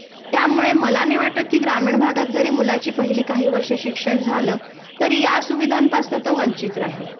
त्यामुळे मला नाही वाटत कि ग्रामीण भागात जरी मुलाची पहिली काही वर्षे शिक्षण झालं तरी या सुविधांपासन तो वंचित राहील